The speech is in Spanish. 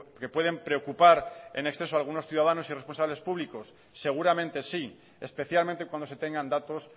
que pueden preocupar en exceso algunos ciudadanos y responsables públicos seguramente sí especialmente cuando se tengan datos